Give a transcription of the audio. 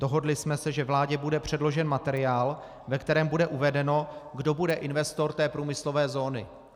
Dohodli jsme se, že vládě bude předložen materiál, ve kterém bude uvedeno, kdo bude investor té průmyslové zóny.